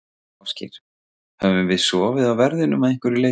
Ásgeir: Höfum við sofið á verðinum að einhverju leyti?